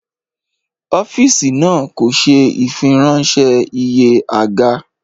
Ọ́fíìsì náà kò ṣe ìfiránṣẹ́ iye àga